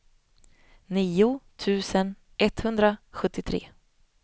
nio tusen etthundrasjuttiotre